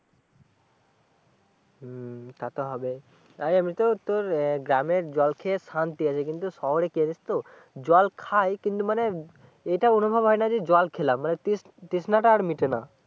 হম তা তো হবেই তাই এমনিতে ও তোর গ্রামের জল খেয়ে শান্তি আছে কিন্তু শহরে গেছি তো কিন্তু জল খাই মানে এটা অনুভব হয় না যে জল খেলাম মানে তৃষ্নাটা আর মিটে না